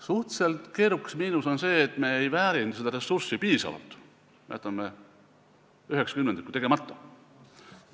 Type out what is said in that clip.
Suhteliselt keerukas miinus on see, et me ei väärinda seda ressurssi piisavalt, jätame üheksa kümnendikku tegemata.